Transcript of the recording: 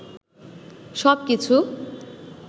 সব কিছু